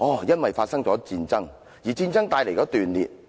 因為發生了戰爭，而戰爭帶來了斷裂。